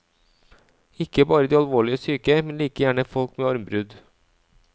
Ikke bare de alvorlig syke, men like gjerne folk med armbrudd.